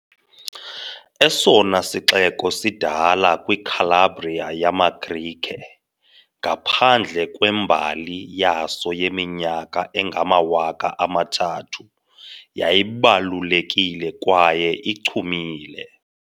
Esona sixeko sidala kwiCalabria yamaGrike, ngaphandle kwembali yaso yeminyaka engamawaka amathathu- yayibalulekile kwaye ichumile